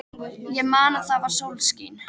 Ég man að það var sólskin.